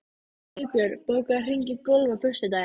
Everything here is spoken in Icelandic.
Sigbjörn, bókaðu hring í golf á föstudaginn.